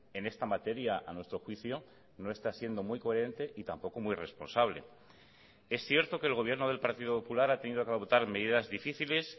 en esta materia a nuestro juicio no está siendo muy coherente y tampoco muy responsable es cierto que el gobierno del partido popular ha tenido que adoptar medidas difíciles